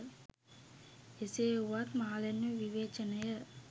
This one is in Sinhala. එසේ වුවත් මාලන්ව විවේචනය